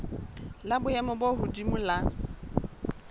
la boemo bo hodimo la